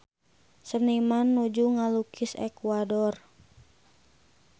Seniman nuju ngalukis Ekuador